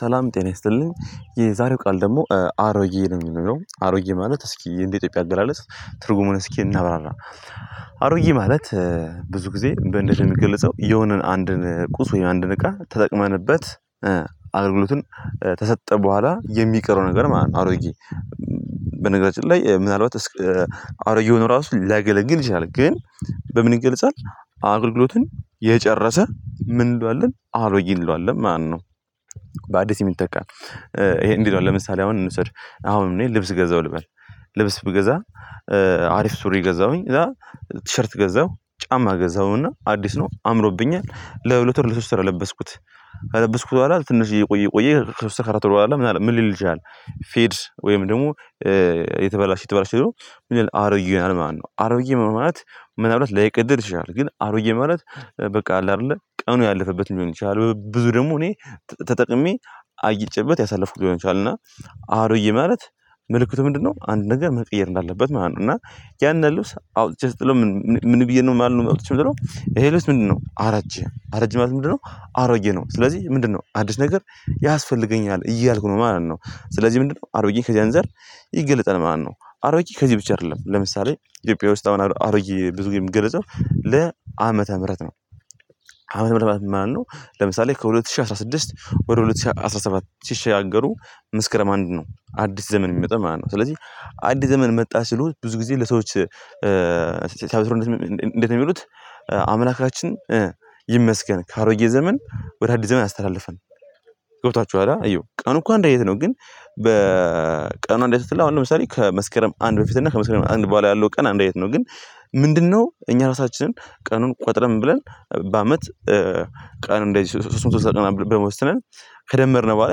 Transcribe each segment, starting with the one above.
ሰላም ጤና ይስጥልኝ የዛሬው ቃል ደግሞ አሮዬ ነው የሚለው አሮዬ ማለት እስኪ እንደ ኢትዮጵያ አገላለጽ ትርጉሙን እስኪ እናብራራ። አሮጌ ማለት ብዙ ጊዜ በእንዴት ነው የሚገልጸው የሆነን አንድን ቁስ ወይ አንድን እቃ ተጠቅመንበት አገልግሎትን ተሰጠ በኋላ የሚቀረው ነገር ማለት ነው። አሮጌ በነገራችን ላይ ምናልባት አሮጌ ሆኖ ራሱ ላገለግል ይችላል። ግን በምን ይገልጻል? አገልግሎትን የጨረሰ ምን እንለዋለን አሮዬ እንለዋለን። ማነው? የሚጠቃ ይሄ እንዲለው ለምሳሌ አሁን እንውሰድ አሁን እኔ ልብስ ገዛሁ ልበል። ልብስ ብገዛ አሪፍ ሱሪ ገዛሁኝ ቲሸርት ገዛሁ ጫማ ገዛሁና አዲስ ነው አምሮብኛል ለሁለት ወር ለሶስት ስራ ለበስኩት። አለበስኩት በኋላ ትንሽ እየቆየ ቆየ ከሶስት አራት አራት በኋላ ምን አለ ምን ልል ይችላል? ፌድ ወይም ደግሞ የተበላሽ የተበላሽ ደግሞ ምን ይሆናል አሮጌ ይሆናል ማለት ነው። አሮጌ ምን ማለት ምን አብላት ላይቀደድ ይችላል። ግን አሮጌ ማለት በቃ አለ አይደለ ቀኑ ያለፈበት ሊሆን ይችላል። ብዙ ደግሞ እኔ ተጠቅሜ አይጨበት ያሳለፍኩት ሊሆን ይችላል። እና አሮጌ ማለት ምልክቱ ምንድነው አንድ ነገር መቀየር እንዳለበት ማለት ነው። እና ያን ያሉት አውጥቼ ስትለው ምን ብዬ ነው የማልነው መውጣት ይሄ ልስህ ምንድነው? አረጀ አረጀ ምንድነው? አሮጌ ነው ስለዚህ ምንድነው አዲስ ነገር ያስፈልገኛል እያልኩ ነው ማለት ነው። ስለዚህ ምንድነው አሮዬ ከዚህ አንፃር ይገለጸል ማለት ነው። አሮጌ ከዚህ ብቻ አይደለም ለምሳሌ ኢትዮጵያ ውስጥ አሁን አሮጌ ብዙ ጊዜ የሚገለጸው ለአመተ ምህረት ነው። ዓመተ ምህረት ማለት ነው። ለምሳሌ ከሁለት ሺህ አስራ ስድስት ወደ ሁለት ሺህ አስራ ሰባት ሺህ ሺህ አገሩ ምስክረም አንድ ነው አዲስ ዘመን የሚመጣ ማለት ነው። ስለዚህ አዲስ ዘመን መጣ ሲሉት ብዙ ጊዜ ለሰዎች ሲያበስሩ እንዴት ነው የሚሉት? አምላካችን ይመስገን ካሮዬ ዘመን ወደ አዲስ ዘመን አስተላለፈን። ገብቷችኋል አየው ቀኑ እንኳን እንደየት ነው? ግን በቀኑ እንዴት ትልህ አሁን ለምሳሌ ከመስከረም አንድ በፊት እና ከመስከረም አንድ በኋላ ያለው ቀን አንድ አይነት ነው። ግን ምንድነው እኛ ራሳችንን ቀኑን ቆጥረን ብለን በአመት ቀን እንደዚህ ሶስቱን ሶስት ሰዓት ቀን በመወሰንን ከደመርነው በኋላ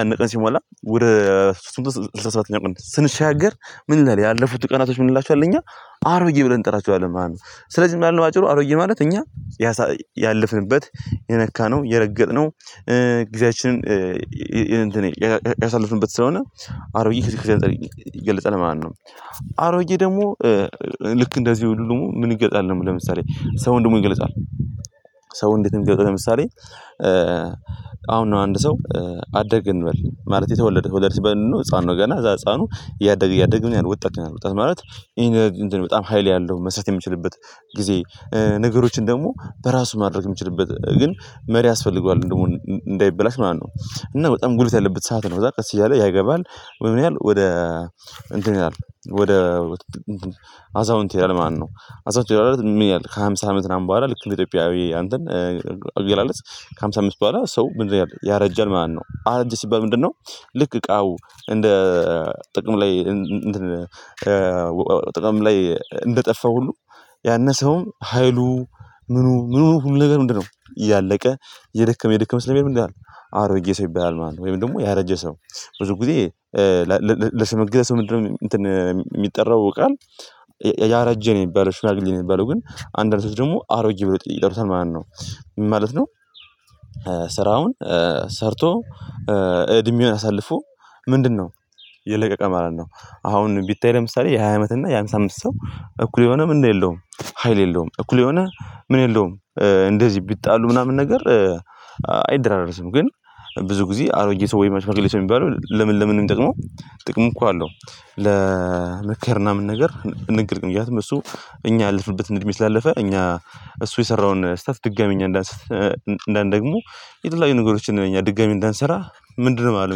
ያንን ቀን ሲሞላ ወደ ስምንት ስምንት ሰባተኛ ቅድስት ስንሻገር ምን ይላል? ያለፉት ቀናቶች ምን ይላሉ? እኛ አሮዬ ብለን እንጠራችኋለን ማለት ነው። ስለዚህ ምን ያህል ማጭሩ አሮዬ ማለት እኛ ያሳ ያለፍንበት የነካነው የረገጥነው ጊዜያችንን ያሳልፍንበት ስለሆነ አሮዬ ከዚህ ከዚህ ይገልጻል ማለት ነው። አሮዬ ደግሞ ልክ እንደዚህ ሁሉም ምን ይገልጻል? ለምሳሌ ሰው ደግሞ ይገለጻል። ሰው እንዴትም ይገለጻል። ለምሳሌ አሁን ነው አንድ ሰው አደርግ እንበል ማለት የተወለደ ወለድ ሲበልጥ ህፃኑ ገና እዛ ህፃኑ እያደግ እያደግ ወጣት ማለት ይሄን በጣም ሀይል ያለው መስራት የምችልበት ጊዜ ነገሮችን ደግሞ በራሱ ማድረግ የምችልበት ግን መሪ ያስፈልገዋል እንደውም እንዳይበላሽ ማለት ነው። እና በጣም ጉልበት ያለበት ሰዓት ነው። በዛ ቀስ እያለ ያገባል ወይ ምን ያህል ወደ እንትን ይላል? ወደ አዛውንት ይላል ማነው አዛውንት ይላል? ምን ያህል ከሃምሳ አመት ምናምን በኋላ ልክ ኢትዮጵያዊ አንተን አገላለጽ ከሃምሳ አምስት በኋላ ሰው ምንድነው ያረጀን ማለት ነው። አረጀ ሲባል ምንድነው? ልክ እቃው እንደ ጥቅም ላይ ጥቅም ላይ እንደጠፋ ሁሉ። ያነሰውም ሀይሉ ምኑ ምኑ ሁሉ ነገር ምንድነው እያለቀ የደከመ የደከመ ስለሚኧድ ምንድን ይላል? አሮዬ ሰው ይባላል ማለት ነው። ወይም ደግሞ ያረጀ ሰው ብዙ ጊዜ ለስምም ምንድነው? የሚጠራው ቃል ያረጀ ነው የሚባለው ሽላግሌ ነው። የሚባለው ግን አንዳንድ ሰው ደግሞ አሮጌ ብሎ ይጠሩታል ማለት ነው። ምን ማለት ነው? ስራውን ሰርቶ እድሜውን አሳልፎ ምንድነው የለቀቀ ማለት ነው። አሁን ቢታይ ለምሳሌ የሃያ አመት እና የሃምሳ አምስት ሰው እኩል የሆነ ምን የለውም። ሀይል የለውም እኩል የሆነ ምን የለውም። እንደዚህ ቢጣሉ ምናምን ነገር አይደራረስም። ግን ብዙ ጊዜ አሮጌ ሰው ወይ ሽማግሌ ሰው የሚባለው ለምን ለምንም ጥቅሙ? እኮ አለው። ለምክር ምናምን ነገር ንግግም ምክንያቱም እሱ እኛ ያለፍንበት እንድሜ ስላለፈ እኛ እሱ የሰራውን ስህተት ድጋሚ እኛ እንዳንሰራ እንደን ደግሞ የትላንት ነገሮችን እኛ ድጋሚ እንዳንሰራ ምንድነው ማለት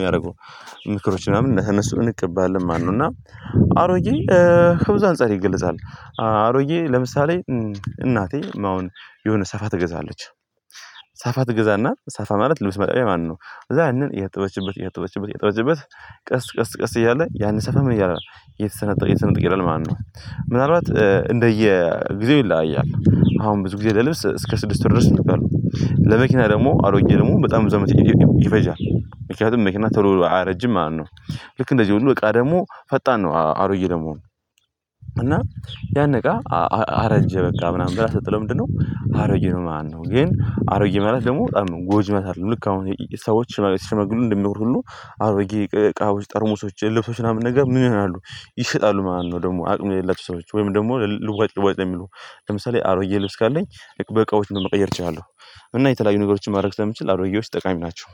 የሚያደርጉ ምክሮች ምናምን እነሱ ምንቅብልን ማለት ነው። እና አሮዬ ህብዝ አንፃር ይገልጻል። አሮዬ ለምሳሌ እናቴ አሁን የሆነ ሰፋ ትገዛለች። ሰፋ ትገዛና ሰፋ ማለት ልብስ መጠቢያ ማነው? ከዛ ያንን የያጠበችበት የያጠበችበት የያጠበችበት ቀስ ቀስ ቀስ እያለ ያንን ሳፋ ምን ይላል ማለት ነው። እየተሰነጠቀ እየተሰነጠቀ ይሄዳል ማለት ነው። ምናልባት እንደየ ጊዜው ይለያያል አሁን ብዙ ጊዜ ለልብስ እስከ ስድስት ድረስ እንቃለን። ለመኪና ደግሞ አሮጌ ደግሞ በጣም ብዙ አመት ይፈጃል ምክንያቱም መኪና ቶሎ አያረጅም ማለት ነው። ልክ እንደዚህ ሁሉ በቃ ደግሞ ፈጣን ነው። አሮዬ ለመሆን። እና ያነቃ አረጀ በቃ ምናምን ብላ ስትጠለው ምንድነው አሮጌ ነው። ማነው ግን አሮዬ ማለት ደግሞ ጎጅመስ አይደለም። ልክ አሁን ሰዎች ሽማግሌ ሽማግሌ እንደሚወር ሁሉ አሮጌ እቃዎች ጠርሙሶች ለብሶች ምናምን ነገር ምን ይሆናሉ? ይሸጣሉ ማለት ነው። ደግሞ አቅም የሌላቸው ሰዎች ወይም ደግሞ ልዋጭ ልዋጭ የሚሉ ለምሳሌ አሮጌ ልብስ ካለኝ በቃዎች መቀየር እችላለሁ። እና የተለያዩ ነገሮችን ማድረግ ስለምችል አሮጌዎች ጠቃሚ ናቸው።